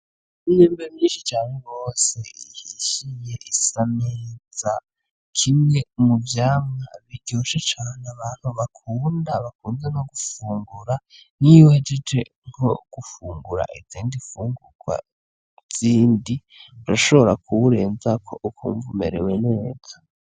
Imyembe myinshi cane gose ihishiye isa neza, kimwe mu vyamwa biryoshe cane abantu bakunda bakunze no gufungura nkiyo uhejeje nko gufungura izindi nfungurwa zindi urashobora kuwurenzako ukumva umerewe neza.